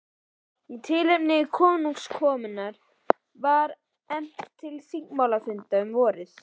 Í tilefni konungskomunnar var efnt til þingmálafundar um vorið.